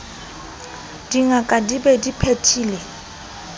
dingaka di be di phethile